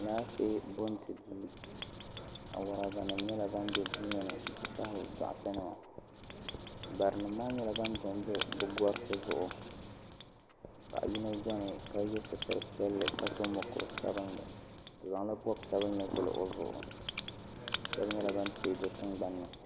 Alaafee bo nti duu awuraba nima bɛ duu ŋɔ ni nti pahi dɔɣitɛ nima bari nima maa nyɛla bani do n do bi gariti zuɣu paɣa yino bɛni ka ye sitira piɛlli ka so mokuru sabinli o zaŋ la bɔbi sabinli vuli o zuɣu shɛba nyɛla bani tɛɛ do tiŋgbanni.